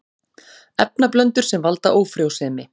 Efnablöndur sem valda ófrjósemi